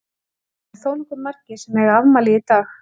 Það eru þónokkuð margir sem að eiga afmæli í dag.